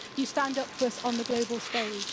You stand up for us on the global stage.